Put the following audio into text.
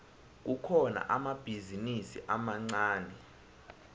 kukhona amabhizinisi amancani